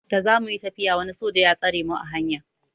Da za muyi tafiya wani soja ya tsare mu a hanya.